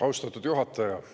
Austatud juhataja!